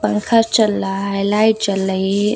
पंखा चल रहा है लाइट चल रही है।